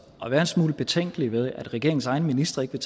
at være en smule betænkelige ved at regeringens egne ministre ikke vil